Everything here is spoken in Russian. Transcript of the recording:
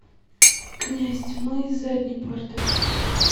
князь тьмы с задней парты